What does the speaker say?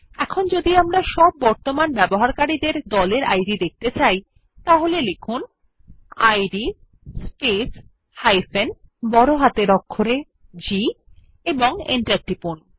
এখন যদি আমরা সব বর্তমান ব্যবহারকারী দের গ্রুপ ইদ দেখতে চাই তাহলে লিখুন ইদ স্পেস G এবং এন্টার টিপুন